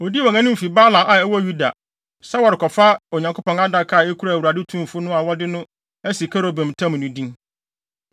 Odii wɔn anim fi Baala a ɛwɔ Yuda, sɛ wɔrekɔfa Onyankopɔn Adaka, a ekura Awurade Tumfo no a wɔde no asi kerubim ntam no din.